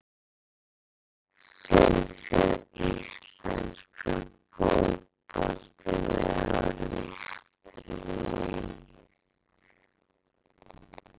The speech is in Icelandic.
Finnst þér íslenskur fótbolti vera á réttri leið?